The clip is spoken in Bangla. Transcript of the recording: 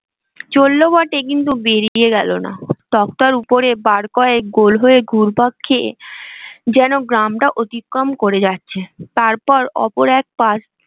চললো বটে কিন্তু বেরিয়ে গেল না তক্তার উপরে বার কয়েক গোল হয়ে ঘুরপাক খেয়ে যেন গ্রামটা অতিক্রম করে যাচ্ছে তার পর ওপর এক